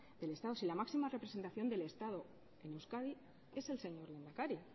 del estado si la máxima representación del estado en euskadi es el señor lehendakari